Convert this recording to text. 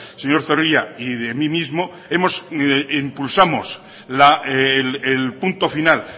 señor zorrilla y de mí mismo impulsamos el punto final